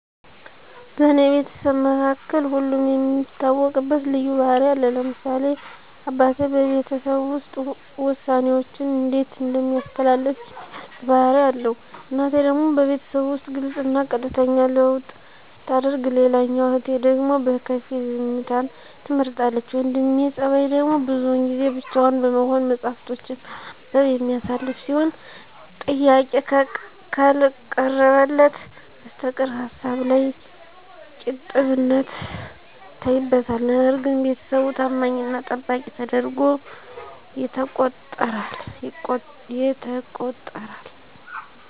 በኔ ቤተሰብ መካከል ሁለም የሚታወቅበት ልዩ ባህሪ አለ ለምሳሌ አበቴ በቤተሰቡ ዉስጥ ወሳኔወችንእንዴት እንደሚያሳልፍ የሚገልጽ ባህሪ አለዉ እናቴ ደግሞ በቤተሰቡ ዉስጥ ግልጽና ቀጥተኛ ልዉዉጥሰታደርግ ሌላኛዋ እህቴ ደግሞ በከፊል ዝምተን ትመርጣለች የወንድሜ ጸባይደግሞ ብዙን ጊዜ ብቻዉን በመሆን መጽሀፍቶችን በማንበብ የሚያሳልፍ ሲሆን ጥያቄ ከልቀረበለት በስተቀር ሀሳብላይ ቂጥብነት ይታይበታል ነገርግን ቤተሰቡ ተማኝና ጠባቂ ተደርጓ የተቆጠራል።